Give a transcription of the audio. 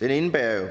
den indebærer jo